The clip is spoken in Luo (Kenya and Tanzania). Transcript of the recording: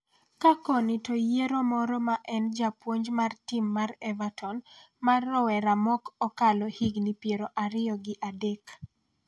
ka koni to yiero moro en japuonj mar tim mar Everton mar rowera mok okalo higni piero ariyo gi adek